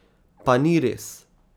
Pa ni res.